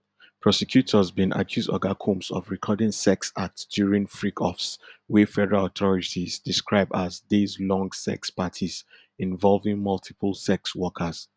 prosecutors bin accuse oga combs of recording sex acts during freak offs wey federal authorities describe as dayslong sex parties involving multiple sex workers